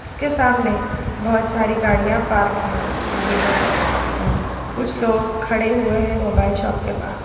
इसके सामने बहुत सारी गाड़ियां पार्क है टू वीलर और कुछ लोग खड़े हुए हैं मोबाइल शॉप के बाहर।